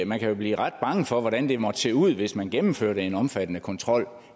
man kan jo blive ret bange for hvordan det måtte se ud hvis man gennemførte en omfattende kontrol